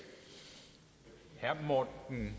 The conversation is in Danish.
tage må man